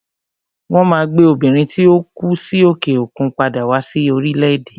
Won Maa gbe Obìnrin tí ó kú sí òkè òkun padà wá sí orílẹ̀ èdè